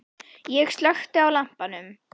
Ég slökkti á lampanum.